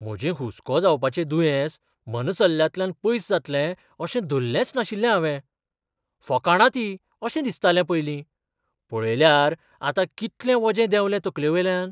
म्हजें हुस्को जावपाचें दुयेंस मनसल्ल्यांतल्यान पयस जातलें अशें धल्लेंच नाशिल्लें हावें. फकाणां तीं अशें दिसतालें पयलीं. पळयल्यार आतां कितलें वजें देंवलें तकलेवेल्यान!